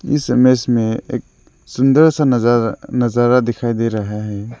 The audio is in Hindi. इस इमेज में एक सुंदर सा नजारा नजारा दिखाई दे रहा है।